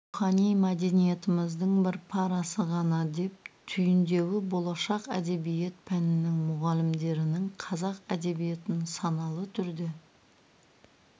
рухани мәдениетіміздің бір парасы ғана деп түйіндеуі болашақ әдебиет пәнінің мұғалімдерінің қазақ әдебиетін саналы түрде